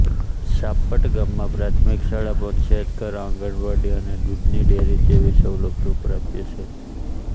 ચાપટ ગામમાં પ્રાથમિક શાળા પંચાયતઘર આંગણવાડી અને દૂધની ડેરી જેવી સવલતો પ્રાપ્ય છે